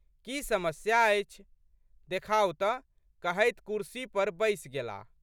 की समस्या अछि? देखाउ तऽ कहैत कुर्सी पर बैसि गेलाह।